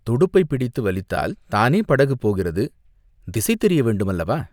துடுப்பைப் பிடித்து வலித்தால் தானே படகு போகிறது!" "திசை தெரிய வேண்டும் அல்லவா?